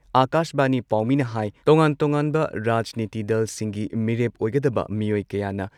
ꯑꯥꯀꯥꯁꯕꯥꯅꯤ ꯄꯥꯎꯃꯤꯅ ꯍꯥꯏ ꯇꯣꯉꯥꯟ ꯇꯣꯉꯥꯟꯕ ꯔꯥꯖꯅꯤꯇꯤ ꯗꯜꯁꯤꯡꯒꯤ ꯃꯤꯔꯦꯞ ꯑꯣꯏꯒꯗꯕ ꯃꯤꯑꯣꯢ ꯀꯌꯥꯅ